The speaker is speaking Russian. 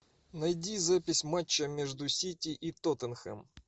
найди запись матча между сити и тоттенхэм